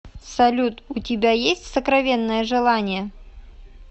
салют у тебя есть сокровенное желание